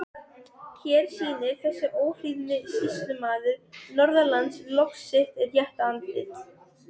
Boraðar tvær rannsóknarholur á Hellisheiði á vegum Orkuveitu Reykjavíkur.